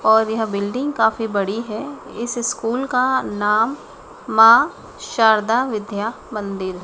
और यह बिल्डिंग काफी बड़ी है इस स्कूल का नाम मां शारदा विद्या मंदिर--